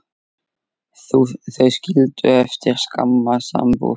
Þau skildu eftir skamma sambúð.